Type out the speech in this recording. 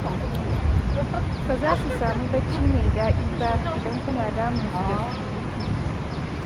Ba za su samu bacci mai daɗi ba idan kuna damunsu da surutu